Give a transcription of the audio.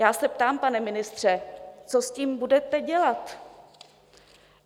Já se ptám, pane ministře, co s tím budete dělat?